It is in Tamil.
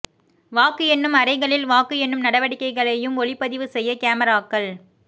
வாக்கு எண்ணும் அறைகளில் வாக்கு எண்ணும் நடவடிக்கைகளையும் ஒளிப்பதிவு செய்ய கேமராக்கள்